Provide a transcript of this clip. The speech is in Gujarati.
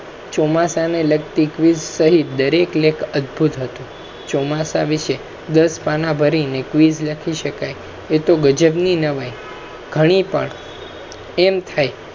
ચોમાસા ને લગતી quiz સહિત દરેક લેખ અદભુત હતુ ચોમાસા વિશે દસ પાના ભરીને quiz લખી શકાય એ તો ગજબ ની નવાઈ ઘણી પણ એમ થાય